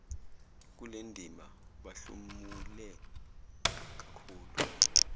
kulendima bahlomule kakhulu